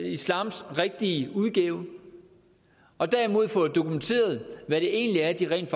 islams rigtige udgave og derimod få dokumenteret hvad det egentlig er de rent